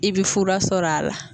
I bi fura sɔrɔ a la.